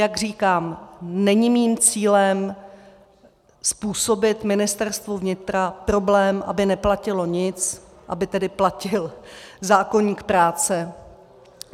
Jak říkám, není mým cílem způsobit Ministerstvu vnitra problém, aby neplatilo nic, aby tedy platil zákoník práce.